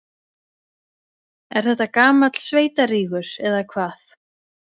Er þetta gamall sveitarígur, eða hvað?